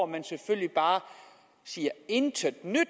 man selvfølgelig bare siger intet nyt